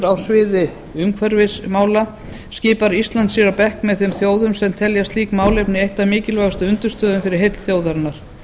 á sviði umhverfismála skipar ísland sér á bekk með þeim þjóðum sem telja slík málefni eina af mikilvægustu undirstöðunum fyrir heill þjóðarinnar